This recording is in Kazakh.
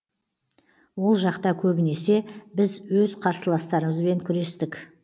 ол жақта көбінесе біз өз қарсыластарымызбен күрестік